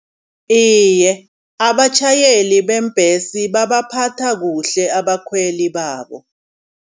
Iye abatjhayeli bembhesi babaphatha kuhle abakhweli babo.